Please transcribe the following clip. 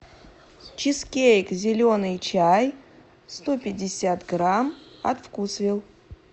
чизкейк зеленый чай сто пятьдесят грамм от вкусвилл